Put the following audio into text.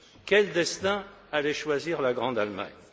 Quel destin allait choisir la grande Allemagne?